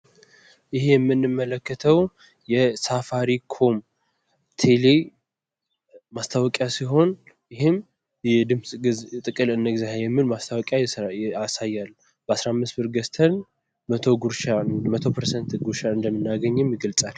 ይሄ የምንመለከተው የሳፋሪ ኮም ቴሌ ማስታወቂያ ሲሆን ይህም የድምፅ ጥቅል እንግዛ የሚል ማስታወቂያ ያሳያል ። በአስራ አምስት ብር ገዝተን መቶ ፐርሰንት ጉርሻ እንደምናገኝም ይገልፃል።